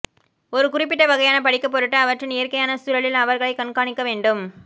ஒரு குறிப்பிட்ட வகையான படிக்க பொருட்டு அவற்றின் இயற்கையான சூழலில் அவர்களை கண்காணிக்க வேண்டும்